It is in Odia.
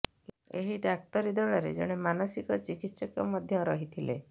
ଏହି ଡାକ୍ତରୀ ଦଳରେ ଜଣେ ମାନସିକ ଚିକିତ୍ସକ ମଧ୍ୟ ରହିଥିଲେ